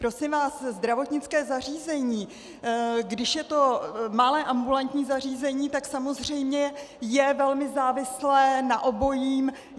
Prosím vás, zdravotnické zařízení, když je to malé ambulantní zařízení, tak samozřejmě je velmi závislé na obojím.